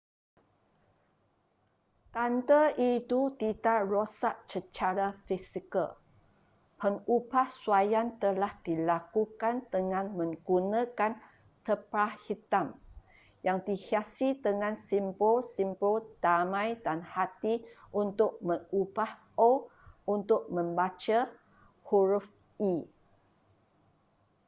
tanda itu tidak rosak secara fizikal pengubahsuaian telah dilakukan dengan menggunakan terpal hitam yang dihiasi dengan simbol simbol damai dan hati untuk mengubah o untuk membaca huruf e